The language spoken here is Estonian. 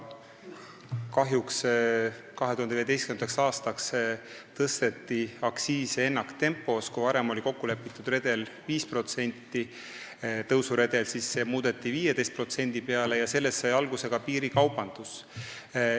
Kahjuks tõsteti 2015. aastaks aktsiise ennaktempos: kui varem oli kokku lepitud 5%-line tõusuredel, siis see muudeti 15%-ks ja sellest sai alguse ka piirikaubandus.